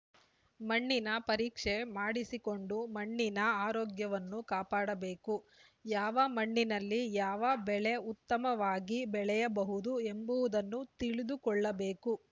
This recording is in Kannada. ಮಣ್ಣಿನ ಪರೀಕ್ಷೆ ಮಾಡಿಸಿಕೊಂಡು ಮಣ್ಣಿನ ಆರೋಗ್ಯವನ್ನು ಕಾಪಾಡಬೇಕು ಯಾವ ಮಣ್ಣಿನಲ್ಲಿ ಯಾವ ಬೆಳೆ ಉತ್ತಮವಾಗಿ ಬೆಳೆಯಬಹುದು ಎಂಬುವುದನ್ನು ತಿಳಿದುಕೊಳ್ಳಬೇಕು